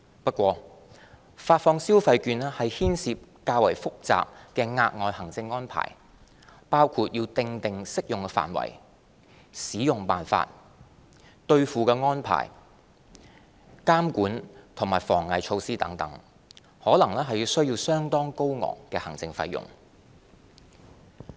不過，發放消費券牽涉較複雜的額外行政安排，包括訂定適用範圍、使用辦法、兌付安排、監管和防偽措施等，可能需要相對高昂的行政費用。